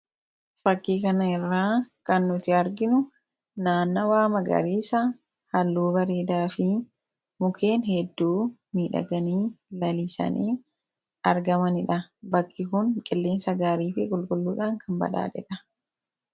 Fakkii kana irraa kan nuti arginu, naannawwaa magariisa halluu bareedaafi mukeen hedduu miidhaganii, lalisanii argamanidha. Bakki kun qilleensa gaariifi qulqulluudhaan kan badhaadhedha.